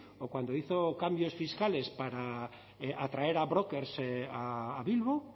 o cuando hizo cambios fiscales para atraer a brokers a bilbo